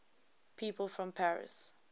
people from paris